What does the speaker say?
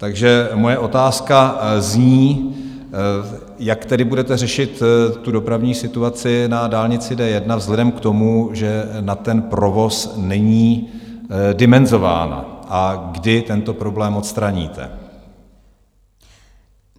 Takže moje otázka zní: Jak tedy budete řešit dopravní situaci na dálnici D1 vzhledem k tomu, že na ten provoz není dimenzována, a kdy tento problém odstraníte?